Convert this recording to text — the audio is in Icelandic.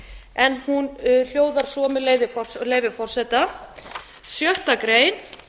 en hún hljóðar svo með leyfi forseta sjöttu grein